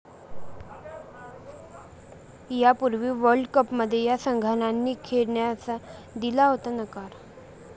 यापूर्वी वर्ल्डकपमध्ये या संघांनीही खेळण्यास दिला होता नकार